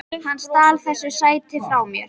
Hann stal þessu sæti frá mér!